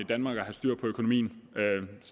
i danmark at have styr på økonomien